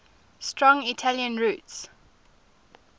strong italian roots